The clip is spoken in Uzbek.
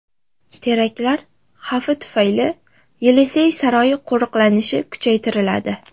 Teraktlar xavfi tufayli Yelisey saroyi qo‘riqlanishi kuchaytiriladi.